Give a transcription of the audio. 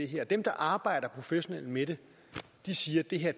her dem der arbejder professionelt med det siger at det her